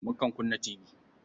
Mukan kunna tibi.